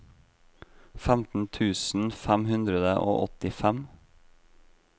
femten tusen fem hundre og åttifem